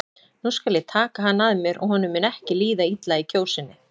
Nú skal ég taka hann að mér og honum mun ekki líða illa í Kjósinni.